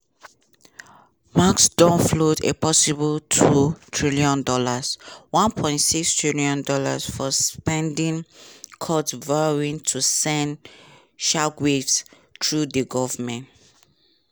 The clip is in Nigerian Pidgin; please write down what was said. musk don float a possible $2tn (£1.6tn) for spending cuts vowing to send "shockwaves" through di govment.